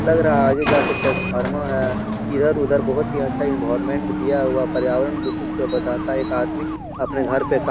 लग रहा है ये जाके ट्रान्सफ़ॉर्मर है इधर उधर बहुत ही अच्छा एनवायरनमेंट दिया हुआ पर्यावरण दूषित से बचाता एक आदमी अपने घर पे का --